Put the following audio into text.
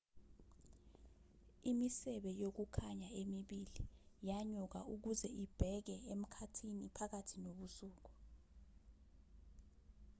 imisebe yokukhanya emibili yanyuka ukuze ibheke emkhathini phakathi nobusuku